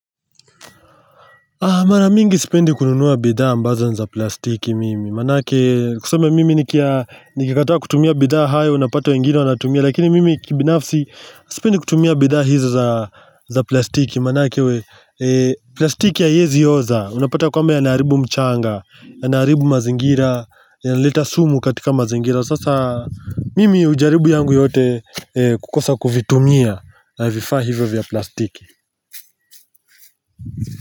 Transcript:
Mara mingi sipendi kununua bidhaa ambazo ni za plastiki mimi Manake tuseme mimi nikikataa kutumia bidhaa hayo unapata wengine wanatumia Lakini mimi kibinafsi sipendi kutumia bidhaa hizo za plastiki Manake plastiki haiezi oza, unapata kwamba yanaharibu mchanga Yanaharibu mazingira, yanaleta sumu katika mazingira Sasa mimi hujaribu yangu yote kukosa kuvitumia vifaa hivyo vya plastiki.